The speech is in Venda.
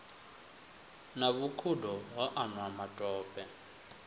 na vhukhudo ho anwa matope